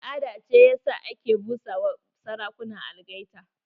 Al'ada ce ya sa ake busa ma sarakuna algaita.